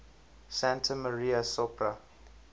santa maria sopra